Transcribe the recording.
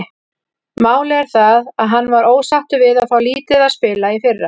Málið er það að hann var ósáttur við að fá lítið að spila í fyrra.